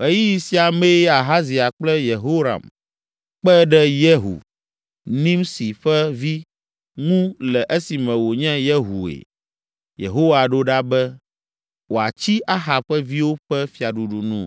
Ɣeyiɣi sia mee Ahazia kple Yehoram kpe ɖe Yehu, Nimsi ƒe vi, ŋu le esime wònye Yehue Yehowa ɖo ɖa be, wòatsi Ahab ƒe viwo ƒe fiaɖuɖu nu.